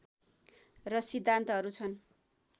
र सिद्धान्तहरू छन्